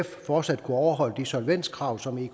fortsat kunne overholde de solvenskrav som